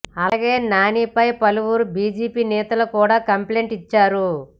అలాగే నానిపై పలువురు బీజేపీ నేతలు కూడా కంప్లైంట్ ఇచ్చారు